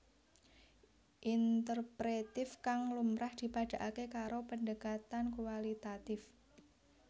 Interpretif kang lumrah dipadhaaké karo pendekatan kualitatif